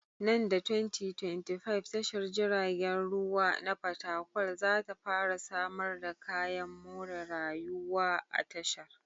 Nan da 2025, tashar jiragen ruwa na fatakwal za ta fara samar da kayan more rayuwaa tashar.